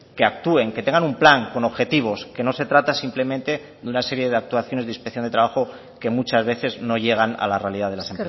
que actúen que tengan un plan con objetivos que no se trata simplemente de una serie de actuaciones de inspección de trabajo que muchas veces no llegan a la realidad de las